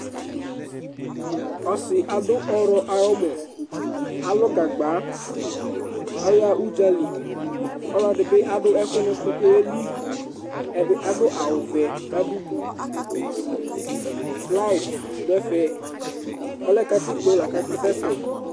ɔsi la lu Gagba, kua udzaliolevi bi aɖu ɛku nu utu nu oɣeli ɛdi aɖu awu wɛ ku ɔdudu ɔlɛ gatikpo la ku akasɛ